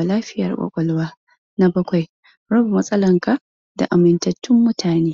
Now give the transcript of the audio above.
ba, hakan kan haifar da kaɗaici.